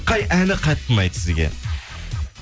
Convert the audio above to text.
қай әні қатты ұнайды сізге